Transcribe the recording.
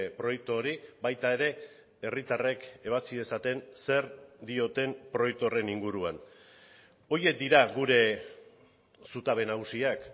proiektu hori baita ere herritarrek ebatzi dezaten zer dioten proiektu horren inguruan horiek dira gure zutabe nagusiak